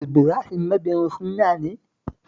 Ibrahim mabiyin sunna ne?